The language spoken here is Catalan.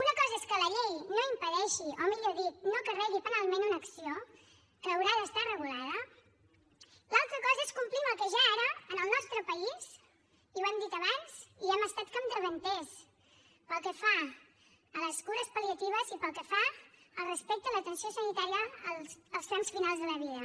una cosa és que la llei no impedeixi o millor dir no carregui penalment una acció que haurà d’estar regulada i l’altra cosa és complir amb el que ja ara en el nostre país i ho hem dit abans hi hem estat capdavanters pel que fa a les cures pal·liatives i pel que fa al respecte a l’atenció sanitària als trams finals de la vida